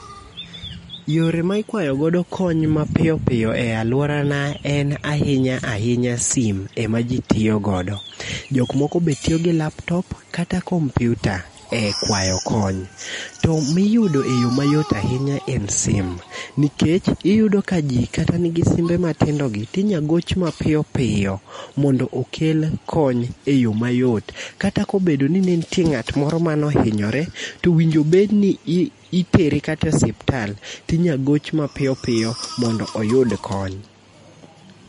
Yore ma ikwayo godo kony mapiyo piyo e alworana en ahinya ahinya sim, em aji tiyo godo. Jok moko be tiyo gi laptop kata kompyuta e kwayo kony. To miyudo e yo mayot ahinya en sim, nikech iyudo ka ji kata nigi simbe matindogi, tinya goch mapiyo piyo, mondo okel kony e yo mayot, kata kobedo ni ne nitie ng'at moro manohinyore, to winjo bedni itere kata siptal, tinya goch mapiyo piyo mondo oyud kony.